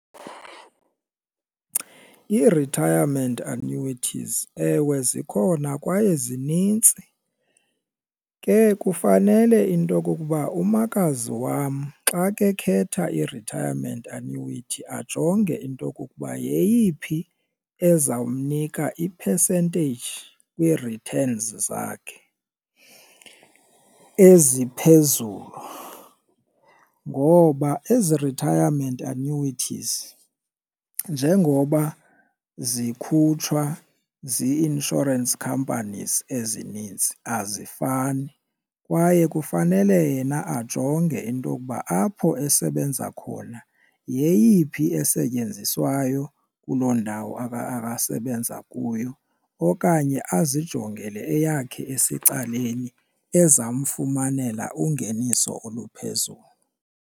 I-retirement annuities ewe zikhona kwaye zinintsi ke kufanele into okokuba umakazi wam xa ke khetha i-retirement annuity ajonge into okokuba yeyiphi ezawumnika i-percentage kwii-returns zakhe eziphezulu. Ngoba ezi retirement annuities njengoba zikhutshwa zii-insurance companies ezininzi azifani kwaye kufanele yena ajonge into okuba apho esebenza khona yeyiphi esetyenziswayo kuloo ndawo asebenza kuyo. Okanye azijongele eyakhe esecaleni ezamfumanela ungeniso oluphezulu.